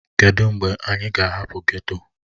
Kedụ mgbe anyị ga-ahapụ geto?